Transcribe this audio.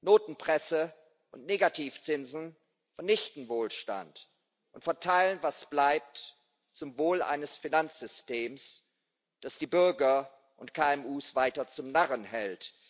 Notenpresse und Negativzinsen vernichten Wohlstand und verteilen, was bleibt, zum Wohle eines Finanzsystems, das die Bürger und KMU weiter zum Narren hält.